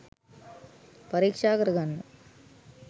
පරික්ෂා කරගන්න